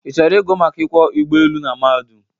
ị chọrọ igụ maka ịkwọ ụgbọelu n mahadum?